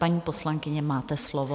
Paní poslankyně, máte slovo.